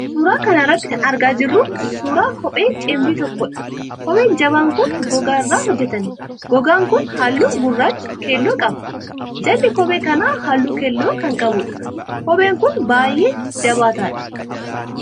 Suura kana irratti kan argaa jirru kun, suura kophee cimdii tokkoo dha. Kopheen jabaan kun, gogaa irraa hojjatame. Gogaan kun, haalluu gurraacha keelloo qaba. Jalli kophee kanaa, haalluu keelloo kan qabuudha. Kopheen kun baay'ee jabaataadha